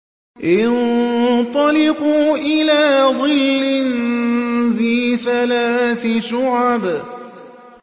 انطَلِقُوا إِلَىٰ ظِلٍّ ذِي ثَلَاثِ شُعَبٍ